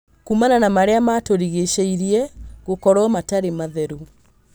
Kuumana na marĩa matũrigicĩirie gũkorwo matarĩ matheru